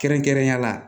Kɛrɛnkɛrɛnnenya la